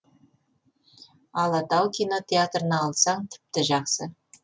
алатау кинотеатрына алсаң тіпті жақсы